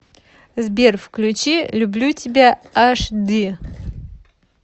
сбер включи люблю тебя аш ди